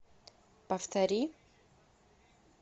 повтори